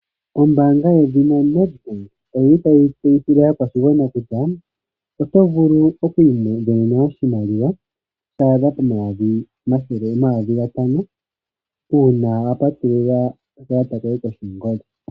Ombanga ndyino yoNetbank oyili tayi tseyithile aakwashigwana kutya oto vulu oku isindanena oshimaliwa shadha pomayovi omathele omayovi gatano uuna wa patulula oka kalata koye.